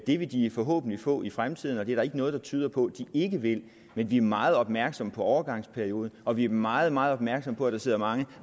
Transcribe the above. det vil de forhåbentlig få i fremtiden og det er der ikke noget der tyder på at de ikke vil men vi er meget opmærksomme på overgangsperioden og vi er meget meget opmærksomme på at der sidder mange